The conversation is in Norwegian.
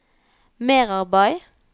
merarbeid